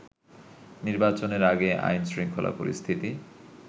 নির্বাচনের আগে আইন শৃঙ্খলা পরিস্থিতি